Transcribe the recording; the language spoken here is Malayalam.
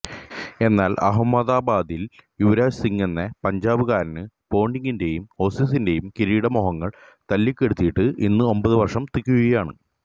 എന്നാല് അഹമ്മദാബാദില് യുവ്രാജ് സിങ്ങെന്ന പഞ്ചാബുകാരന് പോണ്ടിങ്ങിന്റെയും ഓസീസിന്റെയും കിരീട മോഹങ്ങള് തല്ലിക്കെടുത്തിയിട്ട് ഇന്ന് ഒമ്പതു വര്ഷം തികയുകയാണ്